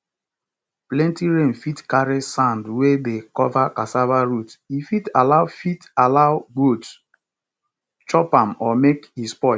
plenty rain fit carry sand wey dey cover cassava root e fit allow fit allow goats chop am or make e spoil